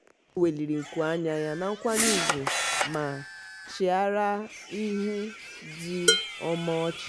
o weliri nku anya ya na nkwanye ugwu ma chịara ihu ndị ọ ma ọchị.